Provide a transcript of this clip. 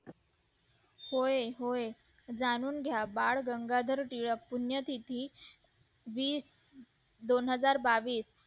होय होय जाणून घ्या बाळ गंगाधर टिळक पुण्यतिथी वीस दोन हजार बावीस